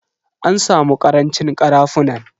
An samu karancin karafunan.